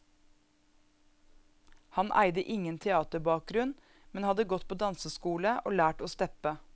Han eide ingen teaterbakgrunn, men hadde gått på danseskole og lært å steppe.